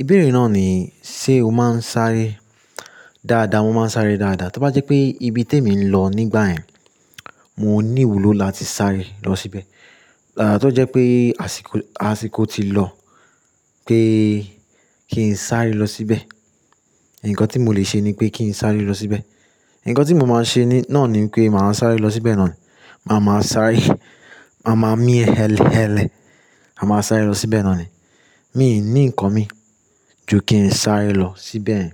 Ìbéèrè náà ni, ṣe o máa ń sáré dáadáa? Mo máa ń sáré dáadáa. Tí ó bá jẹ́ pé ibi tèmi ń lọ nígbà yẹn, mọ ní ìwúlò láti sáré lọ síbẹ̀. Tó jẹ́ pé àsìkò, àsìkò ti lọ pé kí n sáré lọ síbẹ̀. Ǹkan tí mọ lè ṣe ni pé kí n sáré lọ síbẹ̀. Ǹkan tí mọ máa ṣe ní náà ni pé màá sáré lọ síbẹ̀ náà ni. Ma máa sáré, má má mí hẹ́lẹ́hẹ́lẹ̀. A máa sáré lọ síbẹ̀ náà ni. Mi ní nǹkan mí ju kí n sáré lọ síbẹ̀.